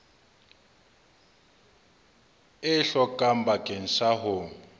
e hlokang bakeng sa ho